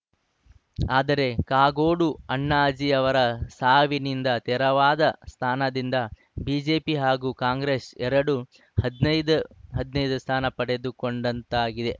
ಆದರೆ ಕಾಗೋಡು ಅಣ್ಣಾಜಿ ಅವರ ಸಾವಿನಿಂದ ತೆರವಾದ ಸ್ಥಾನದಿಂದ ಬಿಜೆಪಿ ಹಾಗೂ ಕಾಂಗ್ರೆಸ್‌ ಎರಡು ಹದಿನೈದು ಹದಿನೈದು ಸ್ಥಾನ ಪಡೆದುಕೊಂಡಂತಾಗಿದೆ